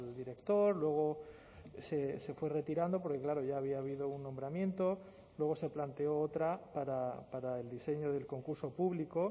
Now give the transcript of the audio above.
director luego se fue retirando porque claro ya había habido un nombramiento luego se planteó otra para el diseño del concurso público